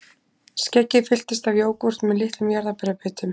Skeggið fylltist af jógúrt með litlum jarðarberjabitum